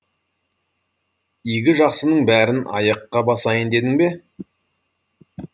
игі жақсының бәрін аяққа басайын дедің бе